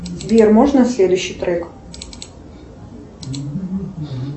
сбер можно следующий трек